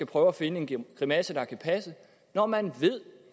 prøve at finde en grimasse der kan passe når man ved